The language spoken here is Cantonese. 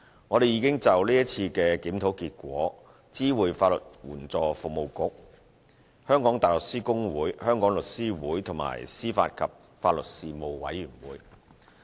我們已就是次檢討結果知會法律援助服務局、香港大律師公會、香港律師會，以及司法及法律事務委員會。